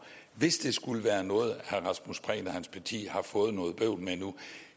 hvis det skulle være noget herre rasmus prehn og hans parti har fået noget bøvl med nu